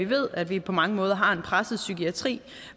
ved at vi på mange måder har en presset psykiatri